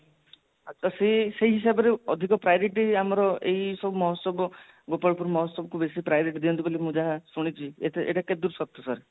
ତ ସେ ସେଇ ହିସାବରେ ଅଧିକ priority ଆମର ଏଇ ସବୁ ମହୋଚ୍ଚବ ଗୋପାଳ ପୁର ମହୋଚ୍ଚବ କୁ ବେସୀ priority ଦିଅନ୍ତି ବୋଲି ମୁଁ ଯାହା ଶୁଣିଛି ଏଟା କେତେ ଦୂର ସତ sir